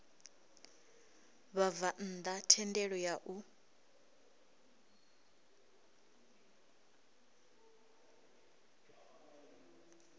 vhabvann ḓa thendelo ya u